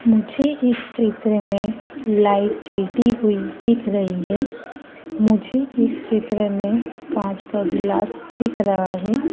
मुझे इस चित्र मे लाइट जलती हुई दिख रही है मुझे इस चित्र मे कांच का ग्लास दिख रहा है।